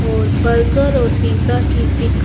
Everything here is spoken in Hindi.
और बर्गर और पिज़्ज़ा की पिक --